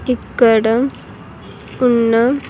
ఇక్కడ ఉన్న.